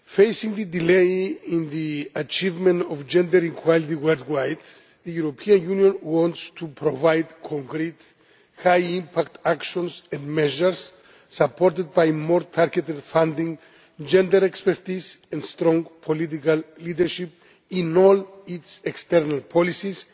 Addressing the delay in the achievement of gender equality worldwide, the European Union wants to provide concrete, high impact actions and measures, supported by more targeted funding, gender expertise and strong political leadership in all its external policies,